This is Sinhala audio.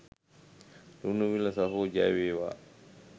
ලුණුවිල සහෝ ජය වේවා